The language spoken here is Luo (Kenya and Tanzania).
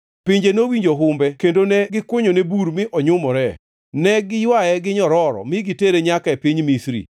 Pinje nowinjo humbe kendo ne gikunyone bur mi onyumore. Ne giywaye gi nyororo mi gitere nyaka e piny Misri.